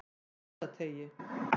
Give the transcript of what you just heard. Mosateigi